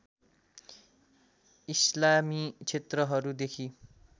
इसलामी क्षेत्रहरू देखि